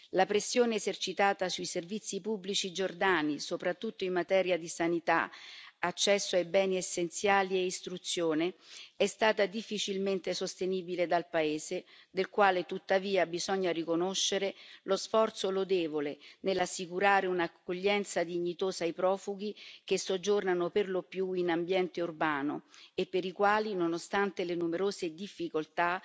La pressione esercitata sui servizi pubblici giordani, soprattutto in materia di sanità, accesso ai beni essenziali e istruzione, è stata difficilmente sostenibile dal paese del quale, tuttavia, bisogna riconoscere lo sforzo lodevole nell'assicurare un'accoglienza dignitosa ai profughi che soggiornano per lo più in ambiente urbano e per i quali, nonostante le numerose difficoltà,